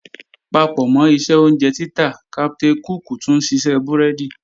Papọ̀mọ́ iṣẹ́ oúnjẹ títà, Captain cook tún ṣiṣẹ́ búrẹ́dì